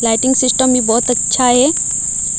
Lighting system भी बहुत अच्छा है।